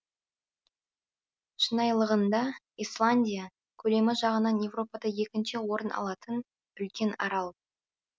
шынайылығында исландия көлемі жағынан еуропада екінші орын алатын үлкен арал